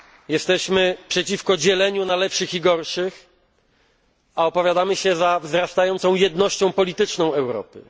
Jesteśmy przeciwko dzieleniu na lepszych i gorszych, a opowiadamy się za wzrastającą jednością polityczną Europy.